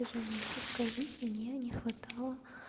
движения хрупкая жизнь мне не хватало